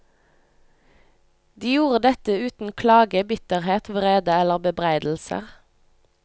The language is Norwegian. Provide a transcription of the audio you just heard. De gjorde dette uten klage, bitterhet, vrede eller bebreidelser.